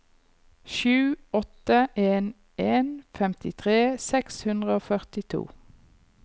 sju åtte en en femtitre seks hundre og førtito